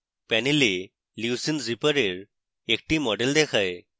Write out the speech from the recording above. panel leucine zipper এর একটি model দেখায়